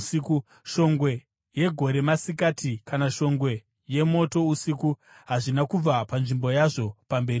Shongwe yegore masikati kana shongwe yemoto usiku hazvina kubva panzvimbo yazvo pamberi pavanhu.